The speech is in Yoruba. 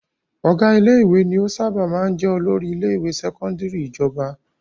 Ọ̀gá ilé-ìwé ni ó sábà máa jẹ olórí ilé-ìwé sẹ́kọ́ndárì ìjọba.